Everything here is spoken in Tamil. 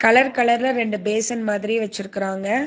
கலர் கலரா ரெண்டு பேசன் மாதிரி வெச்சிருக்குறாங்க.